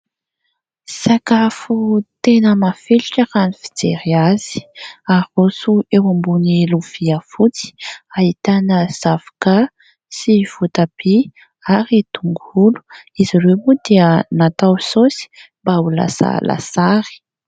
Sakafo tena mafilotra raha ny fijery azy, haroso eo ambon'ny lovia fotsy ahitana zavoka sy votabia ary tongolo ; izy ireo moa dia natao saosy mba ho lasa lasary.